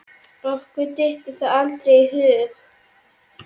okkur dytti það aldrei í hug.